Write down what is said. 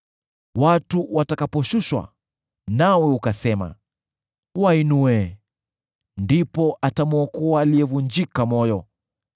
Watu watakaposhushwa, nawe ukasema, ‘Wainue!’ ndipo atamwokoa aliyevunjika moyo.